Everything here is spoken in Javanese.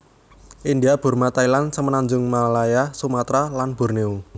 India Burma Thailand Semenanjung Malaya Sumatra lan Borneo